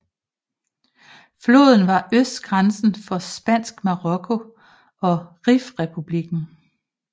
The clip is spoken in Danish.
Floden var østgrænsen for Spansk Marokko og Rifrepublikken